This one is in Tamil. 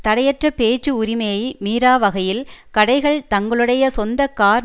தடைற்ற பேச்சு உரிமையை மீறாவகையில் கடைகள் தங்களுடைய சொந்த கார்